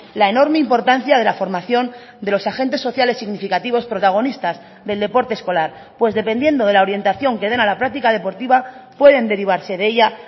la enorme importancia de la formación de los agentes sociales significativos protagonistas del deporte escolar pues dependiendo de la orientación que den a la práctica deportiva pueden derivarse de ella